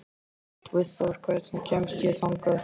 Guðþór, hvernig kemst ég þangað?